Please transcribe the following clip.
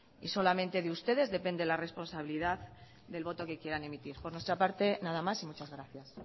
y solamente de ustedes depende la responsabilidad del voto que quieran emitir por nuestra parte nada más y muchas gracias